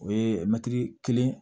O ye mɛtiri kelen